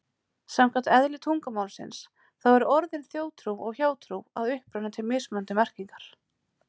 Samkvæmt eðli tungumálsins, þá eru orðin þjóðtrú og hjátrú að uppruna til mismunandi merkingar.